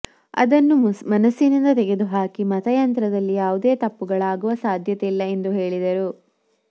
ಅದನ್ನು ಮನಸ್ಸಿನಿಂದ ತೆಗೆದು ಹಾಕಿ ಮತಯಂತ್ರದಲ್ಲಿ ಯಾವುದೇ ತಪ್ಪುಗಳಾಗುವ ಸಾಧ್ಯತೆಯಿಲ್ಲ ಎಂದು ಹೇಳಿದರು